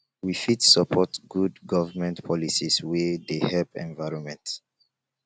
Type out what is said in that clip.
we fit support good government policies wey dey help environment